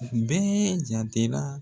u bɛɛ jatera